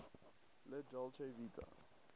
la dolce vita